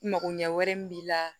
Makoɲɛ wɛrɛ min b'i la